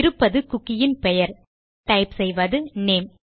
இருப்பது குக்கி யின் பெயர் டைப் செய்வது நேம்